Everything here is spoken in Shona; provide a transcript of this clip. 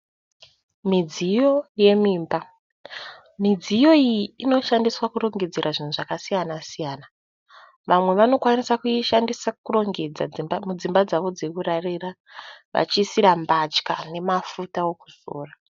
Midziyo yemumba, midziyo iyi inoshandiswa kurongedzera zvinhu zvakasiyana-siyana vamwe vanoishandisa kuisa mbatya nemafuta ekuzora.